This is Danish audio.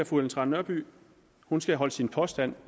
fru ellen trane nørby skal holde sine påstande